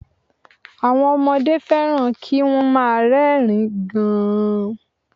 Àwọn ọmọdé fẹ́ràn kí wọ́n má a rẹ́rìn ín gan